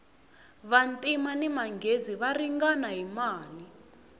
vantima ni manghezi va ringana hi mali